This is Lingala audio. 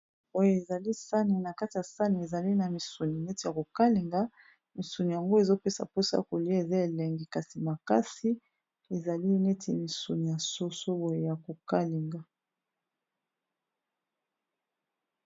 Oyo ezali sani na kati ya sani ezali na misuni neti ya kokalenga. Misuni yango ezopesa mposa kolia eza elenge kasi makasi ezali neti misuni ya soso boye ya kokalenga.